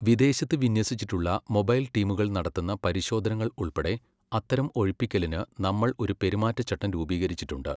വിദേശത്ത് വിന്യസിച്ചിട്ടുള്ള മൊബൈൽ ടീമുകൾ നടത്തുന്ന പരിശോധനകൾ ഉൾപ്പെടെ അത്തരം ഒഴിപ്പിക്കലിന് നമ്മൾ ഒരു പെരുമാറ്റച്ചട്ടം രൂപീകരിച്ചിട്ടുണ്ട്.